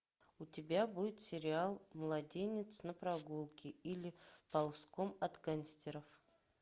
у тебя будет сериал младенец на прогулке или ползком от гангстеров